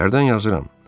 Tərgdən yazıram.